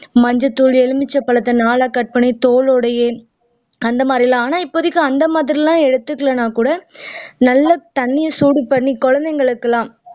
மஞ்சள்தூள் எலுமிச்சபழத்தை நாலா cut பண்ணி தோலோடையே அந்த மாதிரி எல்லாம் ஆனா இப்போதைக்கு அந்த மாதிரி எல்லாம் எடுத்துக்கலன்னா கூட நல்லா தண்ணியை சூடு பண்ணி குழந்தைகளுக்கெல்லாம்